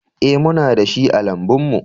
Ee, muna da shi a lambun mu